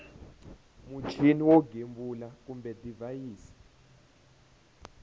muchini wo gembula kumbe divhayisi